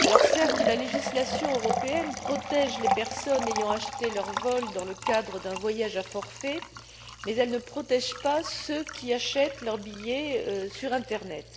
Certes, la législation européenne protège les personnes ayant acheté leur billet dans le cadre d'un voyage à forfait, mais elle ne protège pas celles qui achètent leur billet sur l'internet.